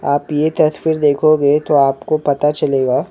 आप ये तस्वीर देखोगे तो आपको पता चलेगा --